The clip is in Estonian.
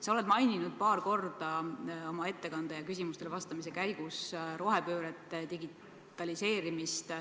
Sa mainisid paar korda oma ettekandes ja küsimustele vastamise käigus rohepööret, digitaliseerimist.